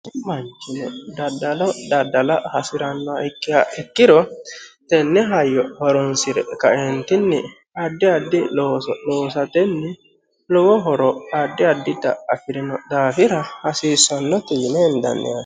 manchin daddalo daddala hasi'ranno kki ikkiro tenne hayyo horonsi're kaentinni addi addi loosatenni lowo horo addi addi da afi'rino daafira hasiissannotu yime hendanni hane